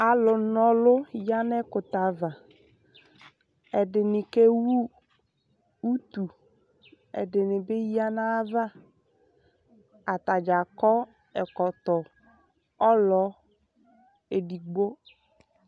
alo na ɔlu ya n'ɛkutɛ ava ɛdini kewu utu ɛdini bi ya n'ayava atadza akɔ ɛkɔtɔ ulɔ edigbo